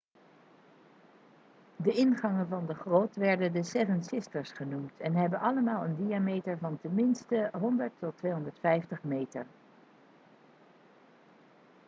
de ingangen van de grot werden the seven sisters' genoemd en hebben allemaal een diameter van ten minste 100 tot 250 meter